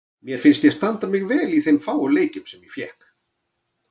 Mér fannst ég standa mig vel í þeim fáu leikjum sem ég fékk.